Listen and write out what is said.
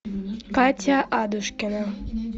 катя адушкина